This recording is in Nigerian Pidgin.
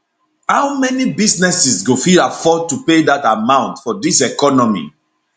how many businesses go fit afford to pay dat amount for dis economy